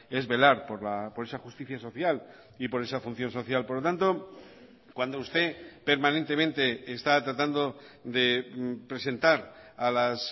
es velar por esa justicia social y por esa función social por lo tanto cuando usted permanentemente está tratando de presentar a las